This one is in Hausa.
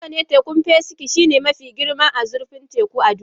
Haka ne, tekun Pasifik shine mafi girma da zurfin teku a duniya.